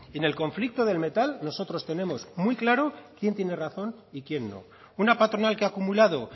en el conflicto del metal nosotros tenemos muy claro quién tiene razón y quién no una patronal que ha acumulado